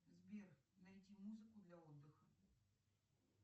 сбер найти музыку для отдыха